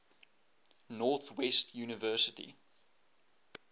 north west university